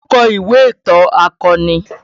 Olu kọ ìwé ìtàn akọni